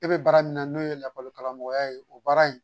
Ne bɛ baara min na n'o ye lakɔli karamɔgɔya ye, o baara in